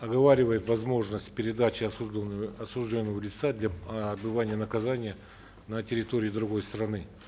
оговаривает возможность осужденного лица для э отбывания наказания на территории другой страны